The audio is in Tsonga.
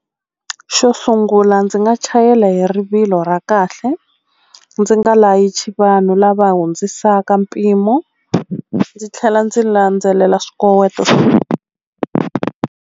Xo sungula ndzi nga chayela hi rivilo ra kahle ndzi nga layichi vanhu lava hundzisaka mpimo ndzi tlhela ndzi landzelela swikoweto.